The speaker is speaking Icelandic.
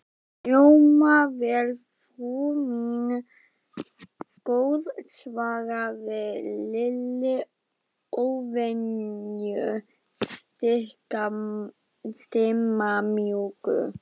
Hljómar vel, frú mín góð svaraði Lilli, óvenju stimamjúkur.